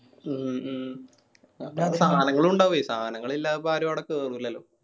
ഉം മ്മ ്. പിന്നെ സാനങ്ങളു ഇണ്ടാവുവെ സാനങ്ങൾ ഇല്ലാതെ ഇപ്പോ ആരു അവിടെ കേറൂലല്ല.